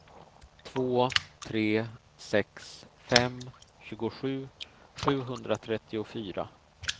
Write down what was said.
två tre sex fem tjugosju sjuhundratrettiofyra